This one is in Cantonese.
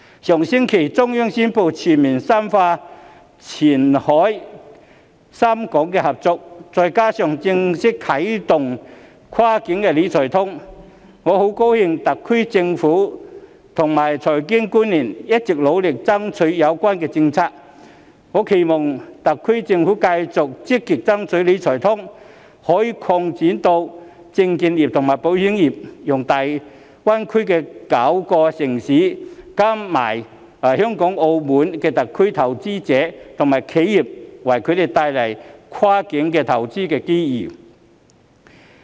上星期中央宣布《全面深化前海深港現代服務業合作區改革開放方案》，再加上正式啟動的"跨境理財通"，我很高興特區政府及財經官員一直努力爭取有關政策，我期望特區政府繼續積極爭取"理財通"可以擴展至證券業和保險業，為粵港澳大灣區內9個內地城市、香港和澳門特區的投資者和企業帶來更多跨境投資機遇。